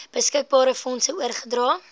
beskikbare fondse oorgedra